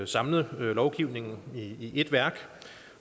samlet lovgivningen i ét værk